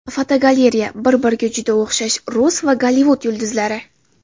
Fotogalereya: Bir-biriga juda o‘xshash rus va Gollivud yulduzlari.